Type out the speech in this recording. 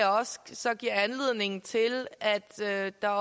så giver anledning til at at der